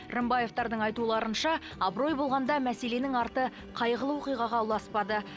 рымбаевтардың айтуларынша абырой болғанда мәселенің арты қайғылы оқиғаға ұласпады